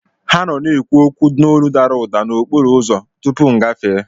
Ha nọ na-ekwu okwu n'olu dara ụda n'okporo ụzọ tupu mụ agafee